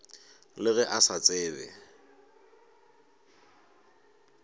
le ge a sa tsebe